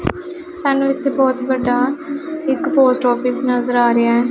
ਸਾਨੂੰ ਇੱਥੇ ਬਹੁਤ ਵੱਡਾ ਇੱਕ ਪੋਸਟ ਆਫਿਸ ਨਜ਼ਰ ਆ ਰਿਹਾ--